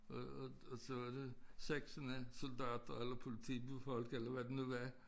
Og og og så var det seksten af soldater eller politifolk eller hvad de nu var